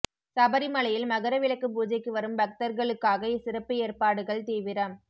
சபரிமலையில் மகர விளக்கு பூஜைக்கு வரும் பக்தர்களுக்காக சிறப்பு ஏற்பாடுகள் தீவிரம்